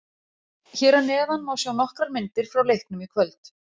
Hér að neðan má sjá nokkrar myndir frá leiknum í kvöld